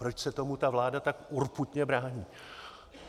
Proč se tomu ta vláda tak urputně brání?